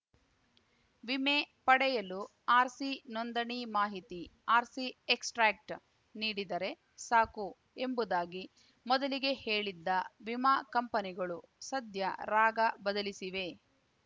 ವಿಮೆ ಪಡೆಯಲು ಆರ್‌ಸಿ ನೋಂದಣಿ ಮಾಹಿತಿ ಆರ್‌ಸಿ ಎಕ್ಸ್‌ಟ್ರಾಕ್ಟ್ ನೀಡಿದರೆ ಸಾಕು ಎಂಬುದಾಗಿ ಮೊದಲಿಗೆ ಹೇಳಿದ್ದ ವಿಮಾ ಕಂಪನಿಗಳು ಸದ್ಯ ರಾಗ ಬದಲಿಸಿವೆ